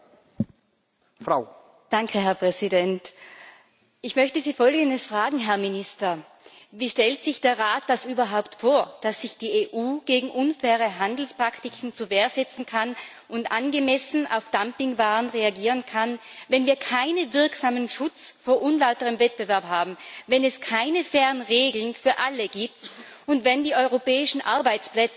Herr Präsident! Herr Minister, ich möchte Sie Folgendes fragen Wie stellt sich der Rat das überhaupt vor, dass sich die EU gegen unfaire Handelspraktiken zur Wehr setzen und angemessen auf Dumpingwaren reagieren kann, wenn wir keinen wirksamen Schutz vor unlauterem Wettbewerb haben, wenn es keine fairen Regeln für alle gibt und wenn die europäischen Arbeitsplätze nicht effektiv geschützt werden,